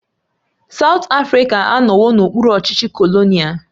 South Africa anọwo n'okpuru ọchịchị kolonial